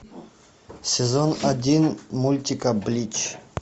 сезон один мультика блич